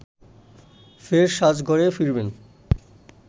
ফের সাজ ঘরে ফিরেন